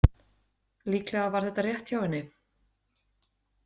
Líklega var þetta rétt hjá henni.